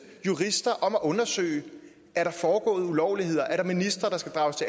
jurister om at undersøge er der foregået ulovligheder er der ministre der skal drages